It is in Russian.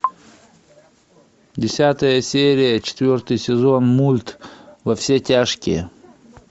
десятая серия четвертый сезон мульт во все тяжкие